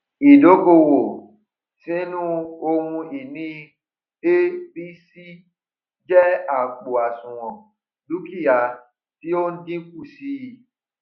ídókòwó sínu ohun ìní abc jẹ àpò àṣùwòn dúkìá tí ó n dínkù sí i